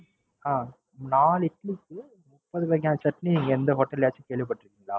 அஹ் நாலு இட்லிக்கு முப்பது வகை சட்னி எந்த Hotel ம் கேள்விப்பட்டிருக்ங்கிலா?